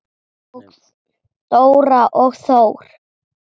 Dóra og Þór.